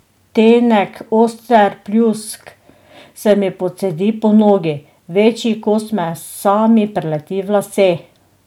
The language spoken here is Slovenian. Tenek, oster pljusk se mi pocedi po nogi, večji kos mesa mi prileti v lase.